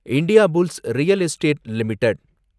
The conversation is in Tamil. Indiabulls real estate limited